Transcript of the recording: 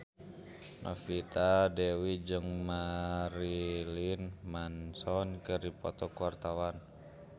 Novita Dewi jeung Marilyn Manson keur dipoto ku wartawan